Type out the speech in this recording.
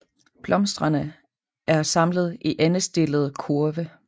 Blomsterne er samlet i endestillede kurve